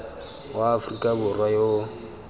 wa aforika borwa yo o